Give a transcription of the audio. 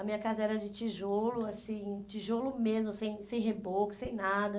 A minha casa era de tijolo, assim, tijolo mesmo, sem sem reboco, sem nada.